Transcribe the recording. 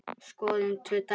Skoðum tvö dæmi.